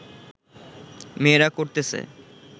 মেয়েরা করতেছে